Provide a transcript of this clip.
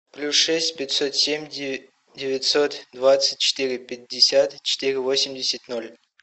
плюс шесть пятьсот семь девятьсот двадцать четыре пятьдесят четыре восемьдесят ноль